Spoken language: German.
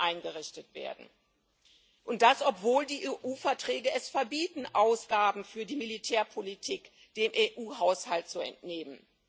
EUR eingerichtet werden, obwohl die EU Verträge es verbieten, Ausgaben für die Militärpolitik dem EU Haushalt zu entnehmen.